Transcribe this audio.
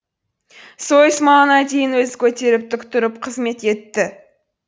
сойыс малына дейін өзі көтеріп тік тұрып қызмет етті